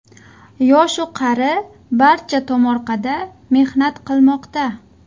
Yosh-u qari barcha tomorqada mehnat qilmoqda.